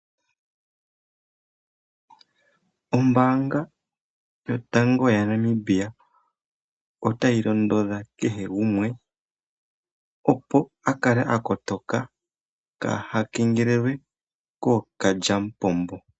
Ombaanga yotango yaNamibia otayi londodha kehe gumwe opo a kale a kotoka kaaha kengelelwe kookalyamupombo.